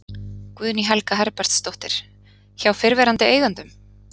Guðný Helga Herbertsdóttir: Hjá fyrrverandi eigendum?